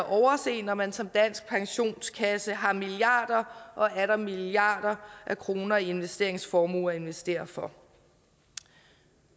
overse når man som dansk pensionskasse har milliarder og atter milliarder af kroner i investeringsformuer at investere for